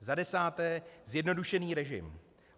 Za desáté, zjednodušený režim.